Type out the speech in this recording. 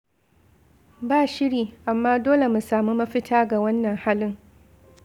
Ba shiri, amma dole mu samu mafita ga wannan halin.